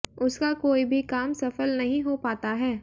उसका कोई भी काम सफल नही हो पाता है